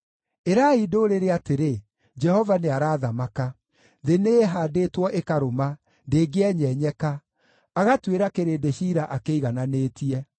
Ĩrai ndũrĩrĩ atĩrĩ, “Jehova nĩarathamaka.” Thĩ nĩĩhaandĩtwo ĩkarũma, ndĩngĩenyenyeka; agatuĩra kĩrĩndĩ ciira akĩigananĩtie.